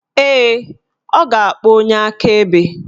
Ee, ọ ga-akpọ onye akaebe